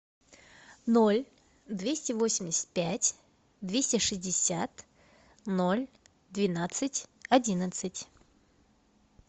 ноль двести восемьдесят пять двести шестьдесят ноль двенадцать одиннадцать